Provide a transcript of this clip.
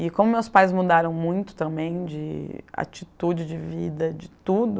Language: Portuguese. E como meus pais mudaram muito também de atitude, de vida, de tudo,